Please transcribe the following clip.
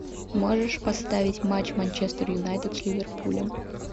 можешь поставить матч манчестер юнайтед с ливерпулем